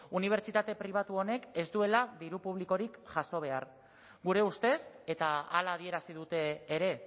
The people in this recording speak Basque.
unibertsitate pribatu honek ez duela diru publikorik jaso behar gure ustez eta hala adierazi dute ere